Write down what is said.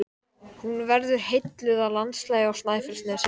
Hún verður heilluð af landslaginu á Snæfellsnesi.